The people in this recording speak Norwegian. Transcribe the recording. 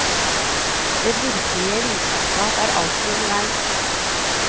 Den virkelige vitenskap er alltid underveis.